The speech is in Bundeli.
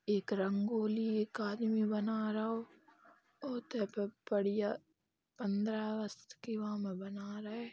एक रंगोली एक आदमी बना रौ बढ़िया पन्द्रह अगस्त के वा म बना रए ।